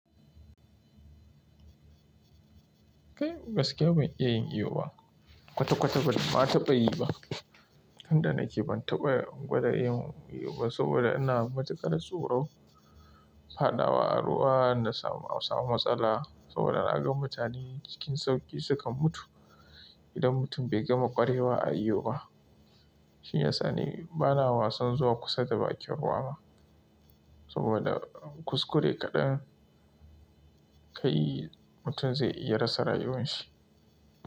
Kai gaskiya ban iya yin iyo ba. Kwata-kwata ban ma taɓa yi ba. Tun da nake ban taɓa gwada yin iyo ba saboda ina matukar tsoro fadawa a ruwa na samu matsala saboda na gan mutane cikin sauƙi sukan mutu. Idan mutum bai gama ƙwarewa a iyo ba, shi ya sa ne bana wasan zuwa kusa da bakin ruwa ba saboda kuskure kaɗa ka yi, mutum zai iya rasa rayuwan shi.